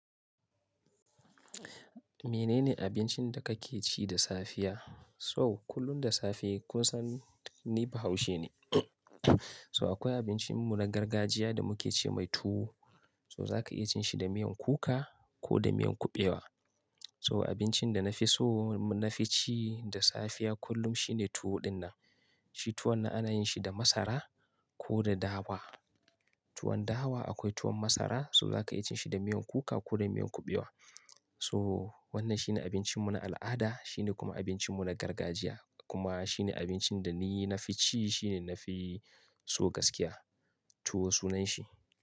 Menene abincin da kake ci da safiya? So kullum da safe kunsan ni Bahaushe ne. To akwai abincin mu na gargajiya da muke ce mai tuwo. To za ka iya cin shi da miyan kuka ko da miyan kuɓewa. So abincin da na fi so na fi ci da safiya kullum shine tuwo dinnan. Shi tuwon nan ana yin shi da masara ko da dawa. Tuwon dawa akwai tuwon masara, so za ka iya cin shi da miyan kuka ko da miyan kuɓewa. So wannan shine abincin mu na al'ada, shine kuma abincin mu na gargajiya. Kuma shine abincin da ni na fi ci, shine na fi so gaskiya. Tuwo sunan shi.